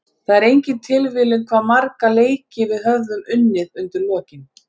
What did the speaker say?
Það er engin tilviljun hvað marga leiki við höfum unnið undir lokin.